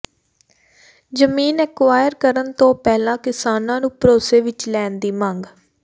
ਜ਼ਮੀਨ ਐਕੁਆਇਰ ਕਰਨ ਤੋਂ ਪਹਿਲਾਂ ਕਿਸਾਨਾਂ ਨੂੰ ਭਰੋਸੇ ਵਿੱਚ ਲੈਣ ਦੀ ਮੰਗ